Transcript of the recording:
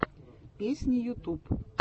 песни ютуб